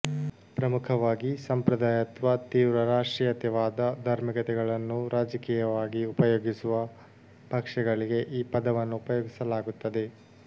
ಪ್ರಮುಖವಾಗಿ ಸಾಂಪ್ರದಾಯತ್ವ ತೀವ್ರ ರಾಷ್ಟ್ರೀಯತೆವಾದ ಧಾರ್ಮಿಕತೆಗಳನ್ನು ರಾಜಕೀಯವಾಗಿ ಉಪಯೋಗಿಸುವ ಪಕ್ಷಗಳಿಗೆ ಈ ಪದವನ್ನು ಉಪಯೋಗಿಸಲಾಗುತ್ತದೆ